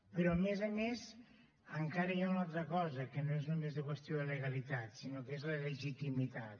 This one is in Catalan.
però a més a més encara hi ha una altra cosa que no és només de qüestió de legalitat sinó que és la legitimitat